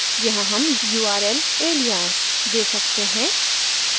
यहाँ हम url alias दे सकते हैं